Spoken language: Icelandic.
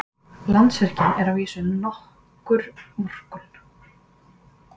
Landsvirkjun er að vísu nokkur vorkunn.